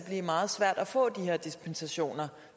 meget svært at få de her dispensationer